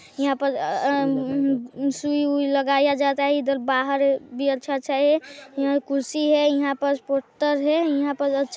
यहाँ पर अ अ सुई उई लगाया जाता हैं ईधर बाहर भी अच्छा अच्छा हैं यहाँ पास कुर्सी हैं यहाँ पास हैं यहाँ पास --